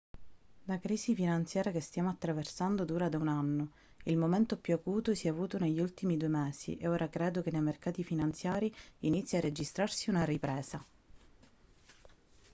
la crisi finanziaria che stiamo attraversando dura da un anno il momento più acuto si è avuto negli ultimi due mesi e ora credo che nei mercati finanziari inizi a registrarsi una ripresa